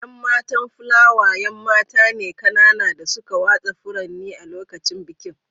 ’Yan matan Flower ’yan mata ne kanana da suka watsa furanni a lokacin bikin.